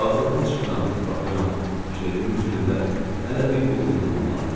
Vağzaldan çıxıram, baxıram, ciletimin cibində hələ bir quldən qımıldanır.